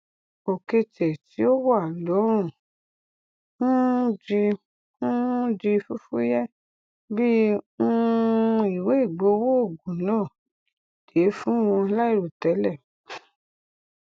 òketè tí ó wà lọrùn um di um di fúfúyẹ bí um ìwé ìgbowó ogún náà dé fún wọn láìrotẹlẹ